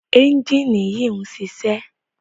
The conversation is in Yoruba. ẹ́njìnì yìí ń ṣiṣẹ́.